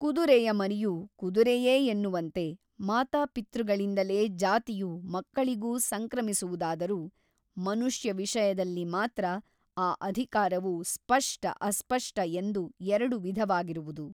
ಕುದುರೆಯ ಮರಿಯು ಕುದುರೆಯೇ ಎನ್ನುವಂತೆ ಮಾತಾಪಿತೃಗಳಿಂದಲೇ ಜಾತಿಯು ಮಕ್ಕಳಿಗು ಸಂಕ್ರಮಿಸುವುದಾದರೂ ಮನುಷ್ಯ ವಿಷಯದಲ್ಲಿ ಮಾತ್ರ ಆ ಅಧಿಕಾರವು ಸ್ಪಷ್ಟ ಅಸ್ಪಷ್ಟ ಎಂದು ಎರಡು ವಿಧವಾಗಿರುವುದು.